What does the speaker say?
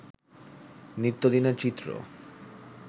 নিত্যদিনের চিত্র